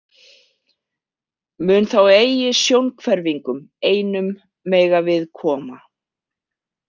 Mun þá eigi sjónhverfingum einum mega við koma.